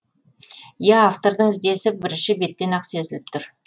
иә автордың ізденісі бірінші беттен ақ сезіліп тұр